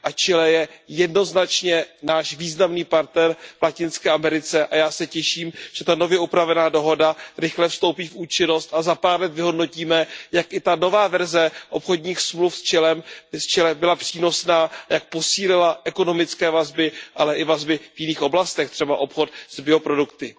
Chile je jednoznačně náš významný partner v Latinské Americe a já se těším, že ta nově upravená dohoda rychle vstoupí v účinnost a za pár let vyhodnotíme, jak i ta nová verze obchodních smluv s Chile byla přínosná a jak posílila ekonomické vazby, ale i vazby v jiných oblastech, třeba obchod s bioprodukty.